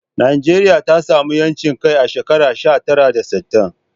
Najeriya ta samu 'yancin kai a shekara sha tara da sittin